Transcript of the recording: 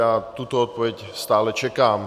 Já tuto odpověď stále čekám.